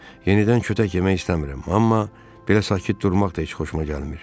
Yenidən kötək yemək istəmirəm, amma belə sakit durmaq da heç xoşuma gəlmir.